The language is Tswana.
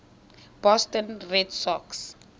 boston red sox